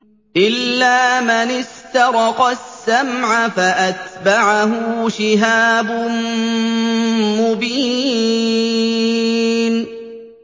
إِلَّا مَنِ اسْتَرَقَ السَّمْعَ فَأَتْبَعَهُ شِهَابٌ مُّبِينٌ